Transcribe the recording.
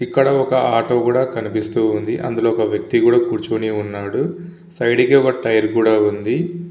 ఇందులో ఒక ఆటో కూడా కనిపిస్తుంది అందులో వ్యక్తి కూడా కురోచిని వున్నాడు సైడ్ కి ఒక టైర్ కూడా వుంది--